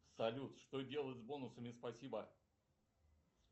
салют что делать с бонусами спасибо